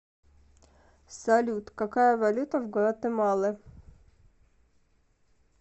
салют какая валюта в гватемале